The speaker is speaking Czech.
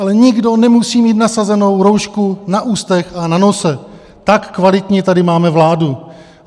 Ale nikdo nemusí mít nasazenou roušku na ústech a na nose, tak kvalitní tady máme vládu.